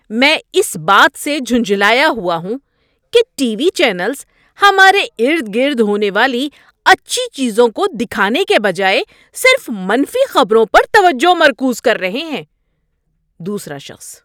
میں اس بات سے جھنجھلایا ہوا ہوں کہ ٹی وی چینلز ہمارے ارد گرد ہونے والی اچھی چیزوں کو دکھانے کے بجائے صرف منفی خبروں پر توجہ مرکوز کر رہے ہیں۔ (دوسرا شخص)